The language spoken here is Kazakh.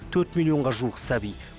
төрт миллионға жуық сәби